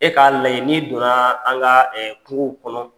E k'a lajɛ n'i donna an ka kungow kɔnɔ,